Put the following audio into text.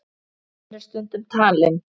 Hann er stundum talinn